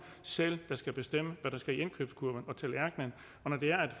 selv der skal bestemme hvad der skal i indkøbskurven og på tallerkenen og når det er at